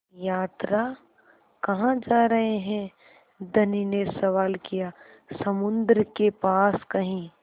यात्रा कहाँ जा रहे हैं धनी ने सवाल किया समुद्र के पास कहीं